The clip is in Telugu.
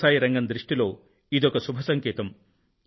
వ్యవసాయ రంగం దృష్టిలో ఇదొక శుభ సంకేతం